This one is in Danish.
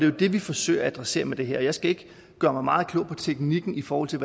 jo det vi forsøger at adressere med det her jeg skal ikke gøre mig meget klog på teknikken i forhold til